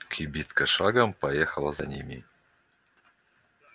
кибитка шагом поехала за нами